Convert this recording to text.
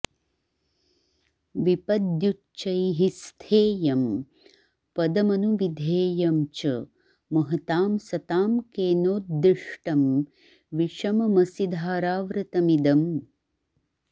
विपद्युच्चैः स्थेयं पदमनुविधेयं च महतां सतां केनोद्दिष्टं विषममसिधाराव्रतमिदम्